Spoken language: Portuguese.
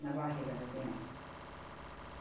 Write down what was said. na barriga da criança.